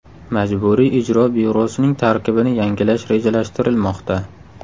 Majburiy ijro byurosining tarkibini yangilash rejalashtirilmoqda.